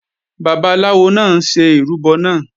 Babaláwo náà ń ṣe ìrúbọ náà